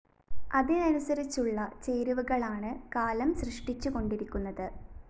അതിനനുസരിച്ചുള്ള ചേരുവകളാണ് കാലം സൃഷ്ടിച്ചുകൊണ്ടിരിക്കുന്നത്